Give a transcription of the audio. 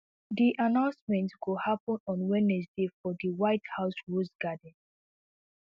di announcement go happun on wednesday for di white house rose garden